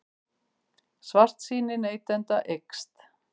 Svartsýni neytenda eykst